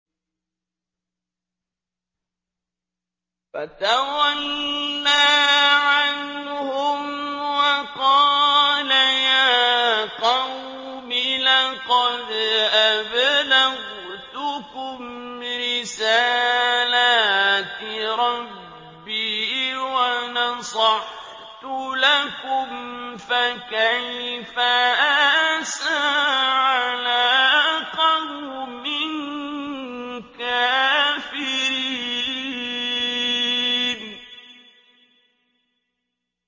فَتَوَلَّىٰ عَنْهُمْ وَقَالَ يَا قَوْمِ لَقَدْ أَبْلَغْتُكُمْ رِسَالَاتِ رَبِّي وَنَصَحْتُ لَكُمْ ۖ فَكَيْفَ آسَىٰ عَلَىٰ قَوْمٍ كَافِرِينَ